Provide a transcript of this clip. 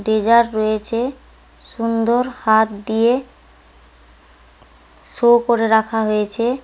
Desire রয়েছে সুন্দর হাত দিয়ে শো করে রাখা হয়েছে।